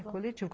É coletivo.